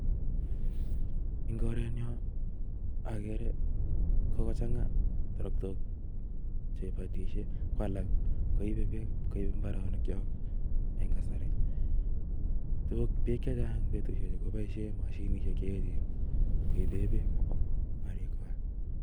En korenyon ageere kokochangaa terektook, chekibotishien ko alak koibe beek kobaa mbaronokchok